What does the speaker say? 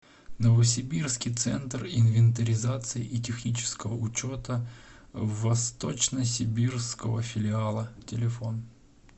новосибирский центр инвентаризации и технического учета восточно сибирского филиала телефон